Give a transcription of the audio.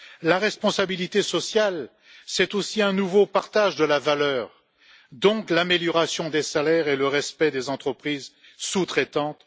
La responsabilité sociale, c'est aussi un nouveau partage de la valeur, donc l'amélioration des salaires et le respect des entreprises sous traitantes.